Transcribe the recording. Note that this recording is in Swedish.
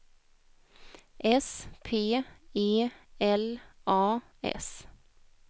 S P E L A S